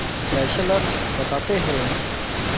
Fessler बताते हैं